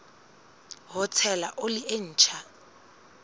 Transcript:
ho tshela oli e ntjha